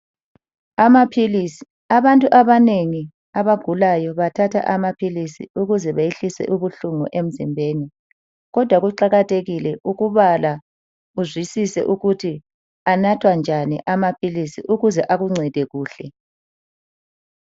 Amaphilisi, abantu abanengi abagulayo bathatha amaphilisi ukuze behlise ubuhlungu emzimbeni. Kodwa kuqakathekile ukubala uzwisise ukuthi anathwa njani amaphilisi ukuze akuncede kuhle.